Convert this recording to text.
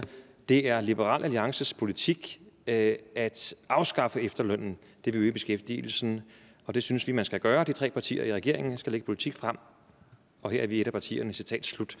det er liberal alliances politik at at afskaffe efterlønnen det vil øge beskæftigelsen og det synes vi man skal gøre de tre partier regeringen skal lægge en politik frem og her er vi et af partierne citat slut